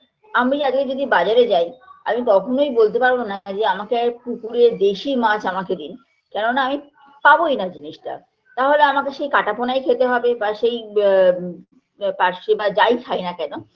আমি আজকে যদি বাজারে যাই আমি কখনোই বলতে পারবোনা যে আমাকে পুকুরের দেশী মাছ আমাকে দিন কেননা আমি পাবোইনা জিনিসটা তাহলে আমাকে সেই কাটাপোনাই খেতে হবে বা সেই বা পার্শে বা যাই খাইনা কেন